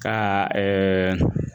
Ka ɛɛ